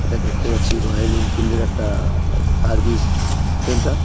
এটা দেখতে পাচ্ছি রয়েল এনফিল্ড -এর একটা-আ সার্ভিস সেন্টার ।